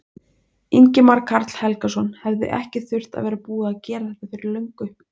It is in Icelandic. Ingimar Karl Helgason: Hefði ekki þurft að vera búið að gera þetta fyrir löngu?